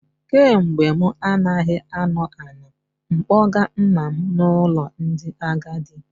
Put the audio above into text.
Kemgbe mụ anaghị anọ, ana m akpọga nna m n'ụlọ ndị agadi